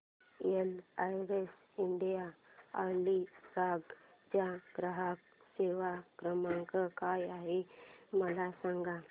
LIC India Alibag चा ग्राहक सेवा क्रमांक काय आहे मला सांगा